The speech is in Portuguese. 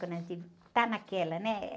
Quando a gente tá naquela, né?